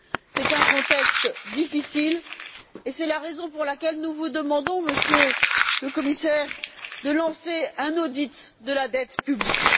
C'est un contexte difficile, et c'est la raison pour laquelle nous vous demandons, Monsieur le Commissaire, de lancer un audit de la dette publique.